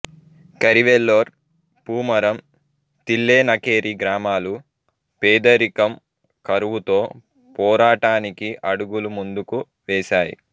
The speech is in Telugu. కరివెల్లోర్ పూమరం తిల్లెనకేరి గ్రామాలు పేదరికం కరువుతో పోరాటానికి అడుగులు ముందుకు వేసాయి